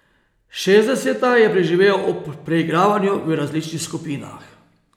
Šestdeseta je preživel ob preigravanju v različnih skupinah.